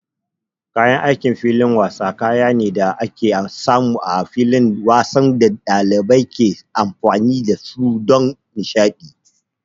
Kayan aikin filin wasa kaya ne da ake samu a filin wasan da ɗalibai ke amfani da su don nishaɗi.